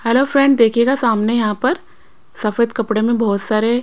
hello friend देखिएगा सामने यहां पर सफेद कपड़े में बहुत सारे--